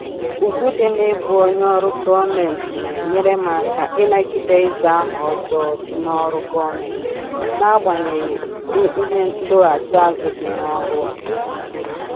Ugwu dị na-ịbụ onye ọrụ gọọmentị na-enyere m aka ịnagide ịza aha ọjọọ dị n'ọrụ gọọmentị n'agbanyeghị ụdị ihe ndọghachi azụ dị n'ọrụ a